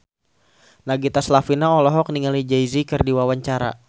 Nagita Slavina olohok ningali Jay Z keur diwawancara